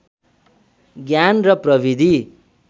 ज्ञान र प्रविधि